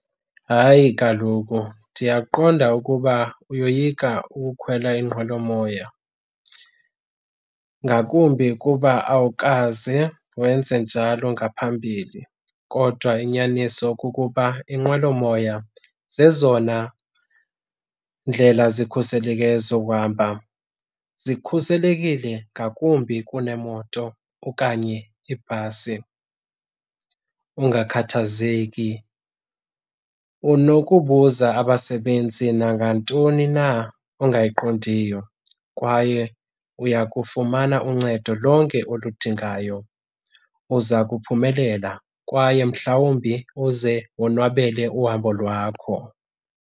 Hayi, kaloku ndiyaqonda ukuba uyoyika ukhwela iinqwelomoya ngakumbi kuba awukaze wenze njalo ngaphambili. Kodwa inyaniso kukuba iinqwelomoya zezona ndlela zikhuseleke zokuhamba, zikhuselekile ngakumbi kuneemoto okanye ibhasi. Ungakhathazeki unokubuza abasebenzi nangantoni na ongayiqondiyo kwaye uya kufumana uncedo lonke oludingayo. Uza kuphumelela kwaye mhlawumbi uze wonwabele uhambo lwakho.